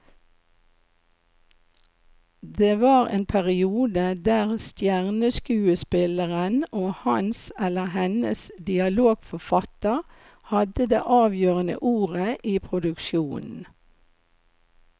Det var en periode der stjerneskuespilleren og hans eller hennes dialogforfatter hadde det avgjørende ordet i produksjonen.